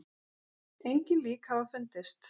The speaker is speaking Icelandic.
Engin lík hafa fundist